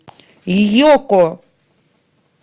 йоко